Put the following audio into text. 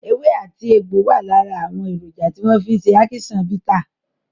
Ewé àti egbò wà lára àwọn èròjà tí wọ́n fi ṣe ákíṣán bità.